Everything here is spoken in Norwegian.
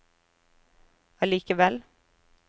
allikevel